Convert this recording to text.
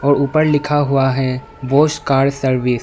ऊपर लिखा हुआ है बॉस कार सर्विस ।